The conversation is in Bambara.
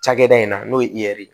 Cakɛda in na n'o ye i ɛri